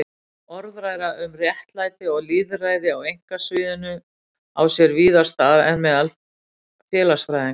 Orðræða um réttlæti og lýðræði á einkasviðinu á sér víðar stað en meðal félagsfræðinga.